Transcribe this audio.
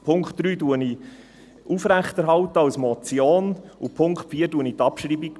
Den Punkt 3 erhalte ich als Motion aufrecht, und beim Punkt 4 bestreite ich die Abschreibung.